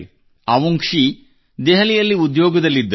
ಅವುಂಗ್ಶಿ ದೆಹಲಿಯಲ್ಲಿ ಉದ್ಯೋಗದಲ್ಲಿದ್ದರು